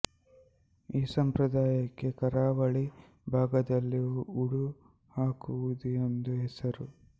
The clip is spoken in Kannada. ಈ ಸಂಪ್ರದಾಯಕ್ಕೆ ಕರಾವಳಿ ಭಾಗದಲ್ಲಿ ಊದು ಹಾಕುವುದು ಎಂಬ ಹೆಸರು